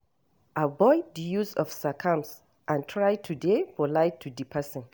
Avoid di use of sarcasm and try to dey polite to di person